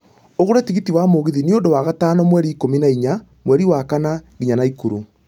ũgũre tigiti wa mũgithi ni undũ wa gatano mweri ikũmi na ĩnya mweri wa kana nginya naikuru